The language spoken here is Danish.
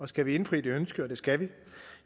skal vi indfri det ønske og det skal vi